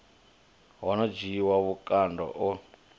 ho no dzhiiwa vhukando e